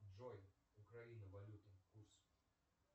джой украина валюта курс